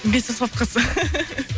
бес аспап қыз